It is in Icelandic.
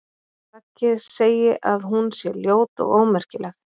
Raggi segi að hún sé ljót og ómerkileg.